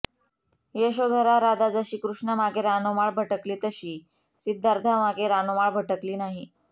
यशोधरा राधा जशी कृष्णामागे रानोमाळ भटकली तशी सिद्धार्थामागे रानोमाळ भटकली नाही